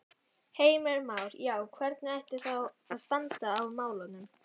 Heimir Már: Já, hvernig ætti þá að standa að málum?